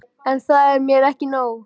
En það er mér ekki nóg.